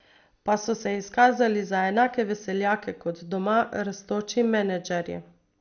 Pa so se izkazali za enake veseljake kot doma rastoči menedžerji.